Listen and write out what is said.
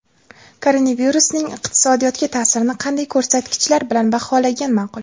Koronavirusning iqtisodiyotga ta’sirini qanday ko‘rsatkichlar bilan baholagan ma’qul?